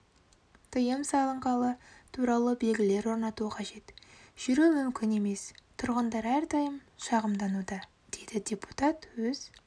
тыйым салынғаны туралы белгілер орнату қажет жүру мүмкін емес тұрғындар әрдайым шақымдануда деді депутат өз